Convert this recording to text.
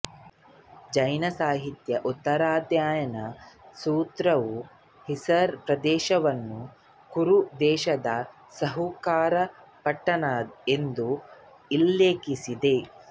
ಜೈನ ಸಾಹಿತ್ಯ ಉತ್ತರಾಧಾಯನ ಸೂತ್ರವು ಹಿಸಾರ್ ಪ್ರದೇಶವನ್ನು ಕುರು ದೇಶದ ಇಸುಕಾರ ಪಟ್ಟಣ ಎಂದು ಉಲ್ಲೇಖಿಸಿದೆ